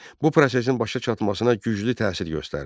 Bu prosesin başa çatmasına güclü təsir göstərdi.